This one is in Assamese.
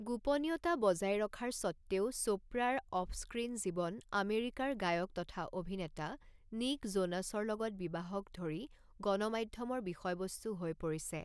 গোপনীয়তা বজাই ৰখাৰ স্বত্ত্বেও চোপ্ৰাৰ অফ স্ক্ৰীণ জীৱন আমেৰিকাৰ গায়ক তথা অভিনেতা নিক জোনাছৰ লগত বিবাহক ধৰি গণমাধ্যমৰ বিষয়বস্তু হৈ পৰিছে।